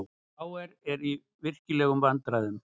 KR á í virkilegum vandræðum